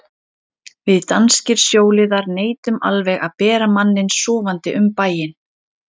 Við danskir sjóliðar neitum alveg að bera manninn sofandi um bæinn.